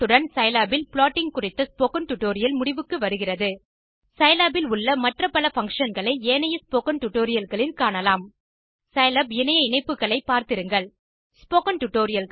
இத்துடன் சிலாப் ல் ப்ளாட்டிங் குறித்த ஸ்போக்கன் டியூட்டோரியல் முடிவுக்கு வருகிறது சிலாப் இல் உள்ள மற்ற பல பங்ஷன் களை ஏனைய ஸ்போக்கன் டியூட்டோரியல் களில் காணலாம் சிலாப் இணைய இணைப்புகளை பார்த்திருங்கள் ஸ்போக்கன் Tutorialகள்